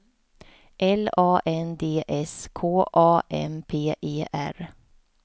L A N D S K A M P E R